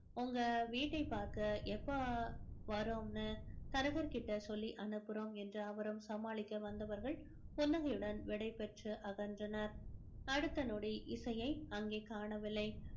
உங்க வீட்டை பார்க்க எப்ப வர்றோம்னு தரகர்கிட்ட சொல்லி அனுப்புறோம் என்று அவரும் சமாளிக்க வந்தவர்கள் புன்னகையுடன் விடைபெற்று அகன்றனர் அடுத்த நொடி இசையை அங்கே காணவில்லை